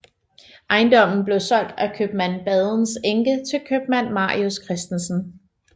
Ejendommen blev solgt af købmand Badens enke til købmand Marius Christensen